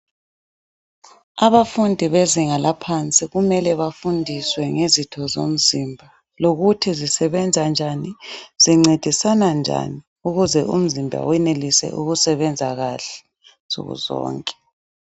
Abafundi bezinga laphansi kumele bafundiswe ngezitho zomzimba. Lokuthi zisebenza njani, zincedisana njani ukuze umzimba wenelise ukusebenza kahle nsuku zonke.